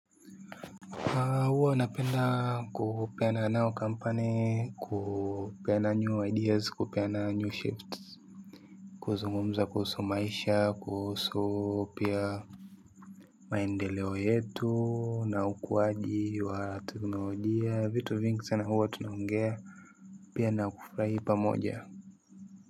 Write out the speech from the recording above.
Huwa napenda kupeana nao company, kupeana new ideas, kupeana new shifts, kuzungumza kuhusu maisha, kuhusu pia maendeleo yetu, na ukuaji wa teknolojia, vitu vingi sana huwa tunaongea, pia na kufurahi pamoja.